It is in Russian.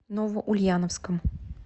новоульяновском